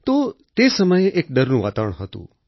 તો તે સમયે એક ડરનું વાતાવરણ હતું